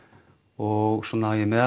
og svona í